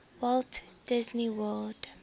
walt disney world